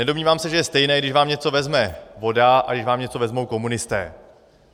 Nedomnívám se, že je stejné, když vám něco vezme voda a když vám něco vezmou komunisté.